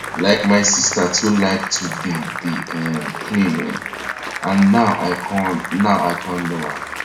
like my sister too like to dey dey um clean[um]and now i con now i con know why